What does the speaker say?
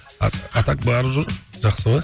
а так барып жүр жақсы ғой